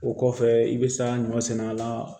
O kɔfɛ i bɛ sa ɲɔ sɛnɛ a la